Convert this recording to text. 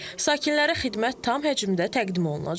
Sakinlərə xidmət tam həcmdə təqdim olunacaq.